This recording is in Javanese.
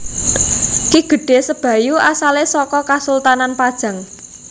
Ki Gedhé Sebayu asalé saka Kasultanan Pajang